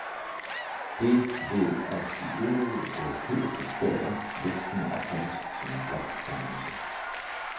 Det vil af de øvrige europæiske stater let kunne opfattes som en blokdannelse.